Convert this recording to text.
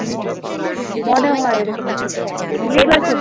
মনে হয় এরকম ই কিছু একটা